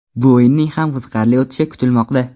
Bu o‘yinning ham qiziqarli o‘tishi kutilmoqda.